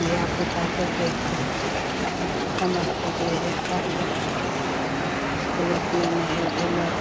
धिया पुता सब देख के स समझते जे हे हवाई जहाज हेय एरोप्लेन हेय भेले।